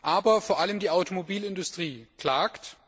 Aber vor allem die Automobilindustrie klagt.